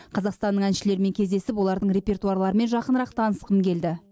қазақстанның әншілерімен кездесіп олардың репертуарларымен жақынырақ танысқым келді